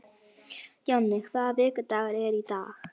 Jonni, hvaða vikudagur er í dag?